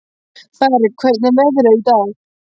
Berg, hvernig er veðrið í dag?